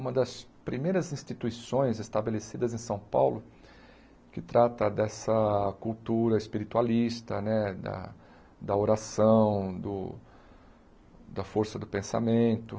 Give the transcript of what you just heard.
Uma das primeiras instituições estabelecidas em São Paulo que trata dessa cultura espiritualista, né da da oração, do da força do pensamento.